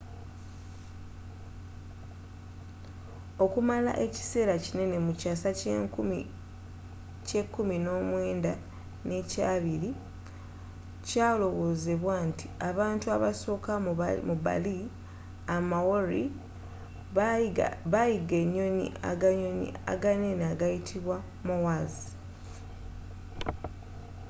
okumala ekisera kinene mu kyasa ky'ekumi n'omwenda n'ekyabili kyalowozebwa nti abantu abasoka mu bali a maori abaayiga enyo aganyonyi aganene agayitibwa moas